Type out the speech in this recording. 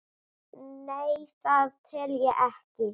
Nei, það tel ég ekki.